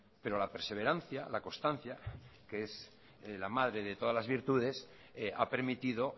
pero la perseverancia la constancia que es la madre de todas las virtudes ha permitido